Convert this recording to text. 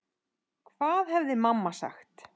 Hvað hefði mamma sagt?